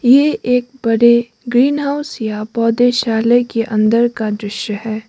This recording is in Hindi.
ये एक बड़े ग्रीन हाउस या पौधे शाले के अंदर का दृश्य है।